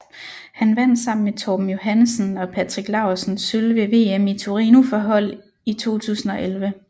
Han vandt sammen med Torben Johannesen og Patrick Laursen sølv ved VM i Torino for hold i 2011